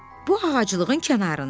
Bu ağaclığın kənarında.